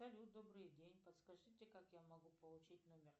салют добрый день подскажите как я могу получить номер